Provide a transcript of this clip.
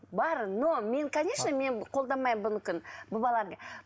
бар но мен конечно мен қолдамаймын бұнікін бұл баланы